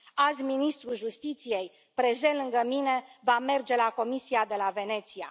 Azi, ministrul justiției, prezent lângă mine, va merge la Comisia de la Veneția.